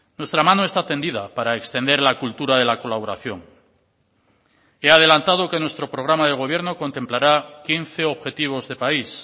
nuestra mano está tendida para extender la cultura de la colaboración he adelantado que nuestro programa de gobierno contemplará quince objetivos de país